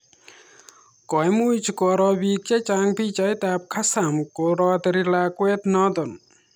Koimuch Koro piik chechang pichait ab kassam koroteri lakwat notok